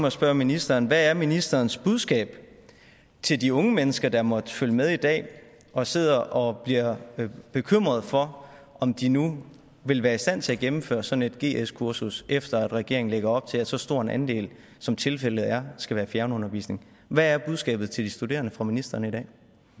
at spørge ministeren hvad er ministerens budskab til de unge mennesker der måtte følge med i dag og sidder og bliver bekymrede for om de nu vil være i stand til at gennemføre sådan et gs kursus efter at regeringen lægger op til at så stor en andel som tilfældet er skal være fjernundervisning hvad er budskabet til de studerende fra ministeren i dag